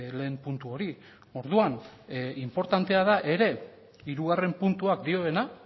lehen puntu hori orduan inportantea da ere hirugarren puntuak dioena